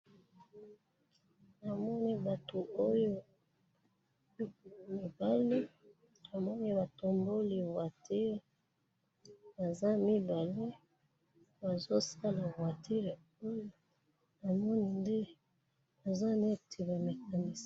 namoni batu oyo mibali namoni batomboli voiture baza mibale bazo sala voiture oyo namoni nde baza neti ba mecanicien.